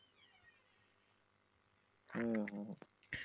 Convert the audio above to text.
হু হু